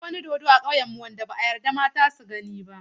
Akwai wani dodo a ƙauyenmu wanda ba a yarda mata su gani ba.